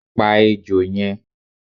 Pa ejò yẹn!